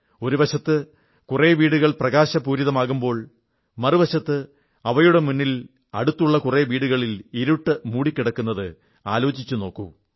ഒരു വശത്ത് കുറെ വീടുകൾ പ്രകാശപൂരിതമാകുമ്പോൾ മറുവശത്ത് അവയുടെ മുന്നിൽ അടുത്തുള്ള കുറെ വിടുകളിൽ ഇരുൾ മൂടിക്കിടക്കുന്നത് ആലോചിച്ചു നോക്കൂ